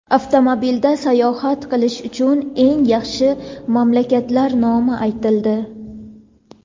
Avtomobilda sayohat qilish uchun eng yaxshi mamlakatlar nomi aytildi.